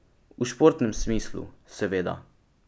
V športnem smislu, seveda.